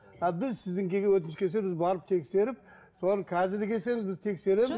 а біз сіздің өтініш келсе біз барып тексеріп солар қазір келсе де біз